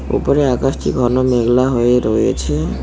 উপরে আকাশটি ঘন মেঘলা হয়ে রয়েছে।